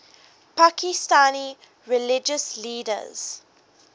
pakistani religious leaders